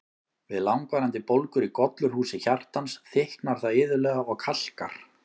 Við langvarandi bólgur í gollurhúsi hjartans, þykknar það iðulega og kalkar.